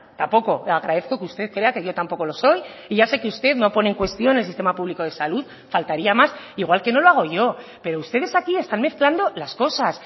tampoco agradezco que usted crea que yo tampoco lo soy y ya sé que usted no pone en cuestión el sistema público de salud faltaría más igual que no lo hago yo pero ustedes aquí están mezclando las cosas